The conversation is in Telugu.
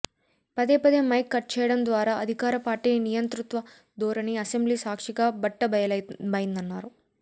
పదేపదే మైక్ కట్ చేయడం ద్వారా అధికార పార్టీ నియంతృత్వ ధోరణి అసెంబ్లీ సాక్షిగా బట్టబయలైందన్నారు